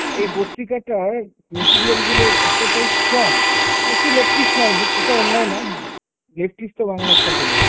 এই পত্রিকাটায় material গুলো এতটাই strong, একটু leftist minded, সেটা অন্যায় না। leftist তো বাংলার সকলেই।